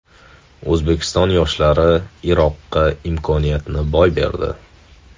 O‘zbekiston yoshlari Iroqqa imkoniyatni boy berdi.